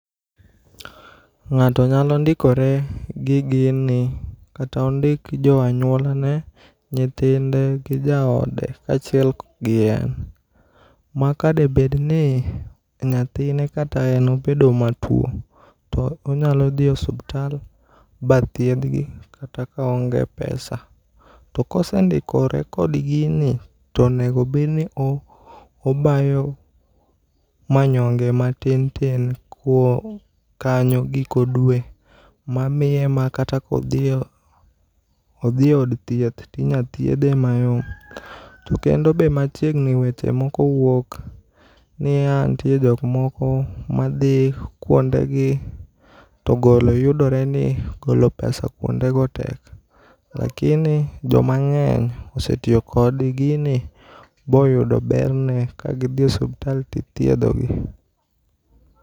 Ng'ato nyalo ndikore gi gini kata ondik joanyuolane nyithinde gi jaode kachiel gi en maka debedni , nyathine kata en obedo matuo to onyalo dhi osuptal bathiedhgi kata ka oonge pesa. Tokosendikore kod gini ,tonego bedni obayo manyonge matin tin kuo kanyo giko dwe mamiye makata kodhie odhie ood thieth tinyathiedhe mayom. To kendo be machiegni weche moko wuok niya nitie jok moko madhi kuondegi to golo yudoreni golo pesa kuondego tek. Lakini jomang'eny osetiyo kod gini boyudo berne kagidhie osuptal tidhiedhgi.